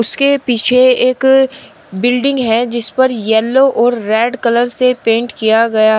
उसके पीछे एक बिल्डिंग है जिस पर येलो और रेड कलर से पेंट किया गया--